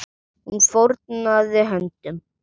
Hún fórnaði höndum.